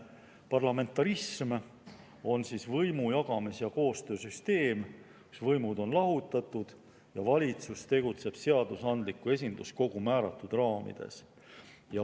Parlamentarism on võimu jagamise ja koostöö süsteem, kus võimud on lahutatud ja valitsus tegutseb seadusandliku esinduskogu määratud raamides.